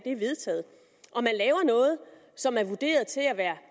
er vedtaget og man laver noget som er vurderet til at være